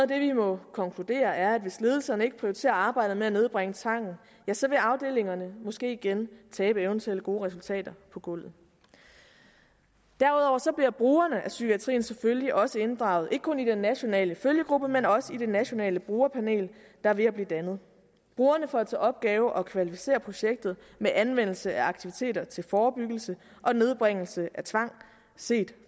det vi må konkludere er at hvis ledelserne ikke prioriterer arbejdet med at nedbringe tvangen ja så vil afdelingerne måske igen tabe eventuelle gode resultater på gulvet derudover bliver brugerne af psykiatrien selvfølgelig også inddraget ikke kun i den nationale følgegruppe men også i det nationale brugerpanel der er ved at blive dannet brugerne får til opgave at kvalificere projektet med anvendelse af aktiviteter til forebyggelse og nedbringelse af tvang set